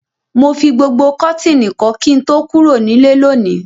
Mo fi gbogbo kọ́tìnì kọ́ kí n tó kúrò nílé lónìí.